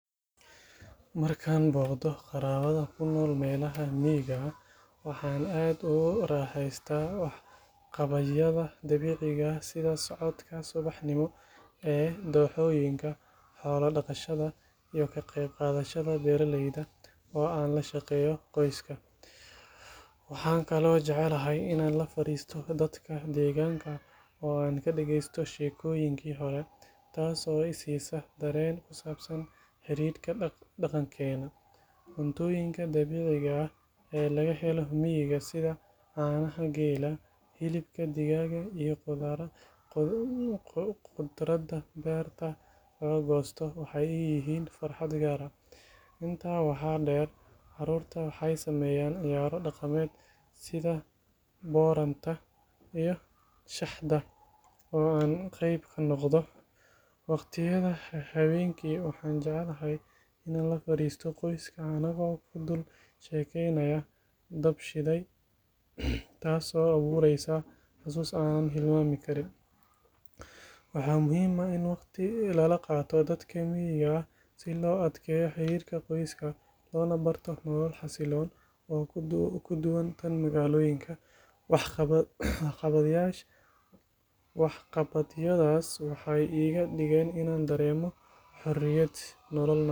Markaan booqdo qaraabada ku nool meelaha miyiga ah, waxaan aad ugu raaxaystaa waxqabadyada dabiiciga ah sida socodka subaxnimo ee dooxooyinka, xoolo dhaqashada, iyo ka qeyb qaadashada beeralayda oo aan la shaqeeyo qoyska. Waxaan kaloo jeclahay inaan la fariisto dadka deegaanka oo aan ka dhageysto sheekooyinkii hore, taas oo i siisa dareen ku saabsan xididka dhaqankeena. Cuntooyinka dabiiciga ah ee laga helo miyiga sida caanaha geela, hilibka digaaga iyo khudradda beerta laga goosto, waxay ii yihiin farxad gaar ah. Intaa waxaa dheer, carruurtu waxay sameeyaan ciyaaro dhaqameed sida booranta iyo shaxda oo aan qayb ka noqdo. Waqtiyada habeenkii waxaan jecelahay inaan la fariisto qoyska anagoo ku dul sheekeynaaya dab shiday, taasoo abuureysa xasuus aanan hilmaami karin. Waxaa muhiim ah in waqti lala qaato dadka miyiga ah si loo adkeeyo xiriirka qoyska, loona barto nolol xasilloon oo ka duwan tan magaalooyinka. Waxqabadyadaas waxay iga dhigaan inaan dareemo xorriyad, nolol nadiif ah.